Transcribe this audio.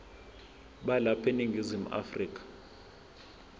balapha eningizimu afrika